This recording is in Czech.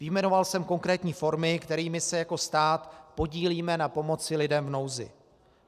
Vyjmenoval jsem konkrétní formy, kterými se jako stát podílíme na pomoci lidem v nouzi.